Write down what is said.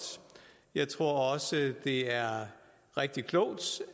jeg tror også at det er rigtig klogt